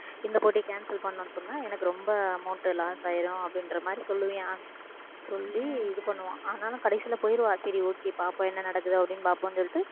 இந்த போட்டியை cancel பண்ணணும்னு சொன்னா எனக்கு ரொம்ப amount loss ஆயிரும் அப்படின்ற மாதிரி சொல்லுவியான் அவன் சொல்லி இது பண்ணுவான் ஆனாலும் கடைசியில போயிருவா சரி okay பார்ப்போம் என்ன நடக்குது அப்படின்னு பார்ப்போம் சொல்லிட்டு